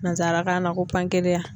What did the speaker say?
Nansarakan na ko